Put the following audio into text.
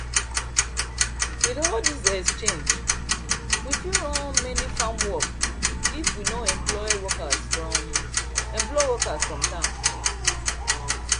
with all this exchange we fit run many farm work if we no employ workers from employ workers from town